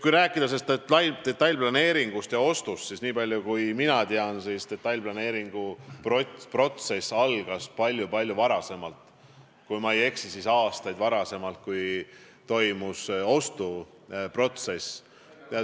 Kui rääkida sellest detailplaneeringust ja ostust, siis niipalju kui mina tean, algas detailplaneeringuprotsess palju-palju varem, kui ma ei eksi, siis aastaid varem kui ostuprotsess.